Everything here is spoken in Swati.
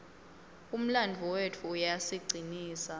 umlandvo wetfu uyasicinisa